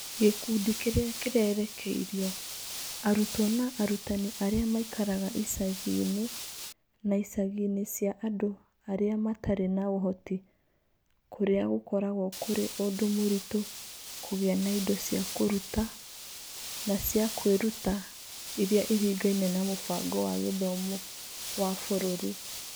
Gĩkundi kĩrĩa kĩrerekeirio: Arutwo na arutani arĩa maikaraga icagi-inĩ na icagi-inĩ cia andũ arĩa matarĩ na ũhoti kũrĩa gũkoragwo kũrĩ ũndũ mũritũ kũgĩa na indo cia kũruta na cia kwĩruta iria iringaine na mũbango wa gĩthomo wa bũrũri.